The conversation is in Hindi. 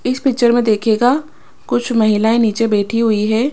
इस पिक्चर में देखिएगा कुछ महिलाएं नीचे बैठी हुई है ।